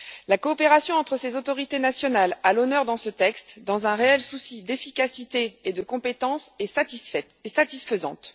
La coopération entre ces autorités nationales à l'honneur dans ce texte dans un réel souci d'efficacité et de compétence est satisfaisante.